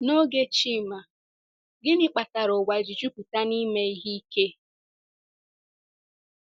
N'oge Chima, gịnị kpatara ụwa ji 'jupụta n'ime ihe ike'?